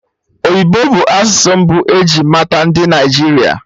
Oyibo bụ asụsụ mbụ eji mata ndị Naịjirịa